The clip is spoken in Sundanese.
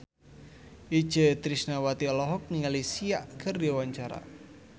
Itje Tresnawati olohok ningali Sia keur diwawancara